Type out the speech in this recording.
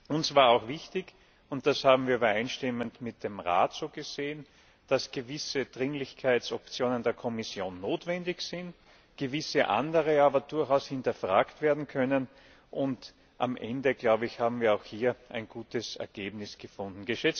Uns war auch wichtig und das haben wir übereinstimmend mit dem Rat so gesehen dass gewisse Dringlichkeitsoptionen der Kommission notwendig sind, gewisse andere aber durchaus hinterfragt werden können. Am Ende haben wird auch hier ein gutes Ergebnis gefunden.